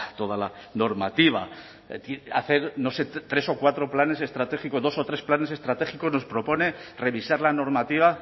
toda la normativa es decir hacer tres o cuatro planes estratégicos dos o tres planes estratégicos nos propone revisar la normativa